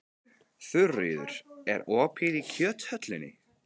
Þuríður, er opið í Kjöthöllinni?